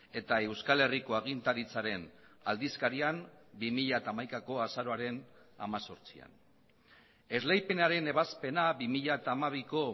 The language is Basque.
eta euskal herriko agintaritzaren aldizkarian bi mila hamaikako azaroaren hemezortzian esleipenaren ebazpena bi mila hamabiko